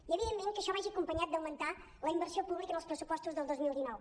i evidentment que això vagi acompanyat d’augmentar la inversió pública en els pressupostos del dos mil dinou